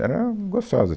Era gostosa.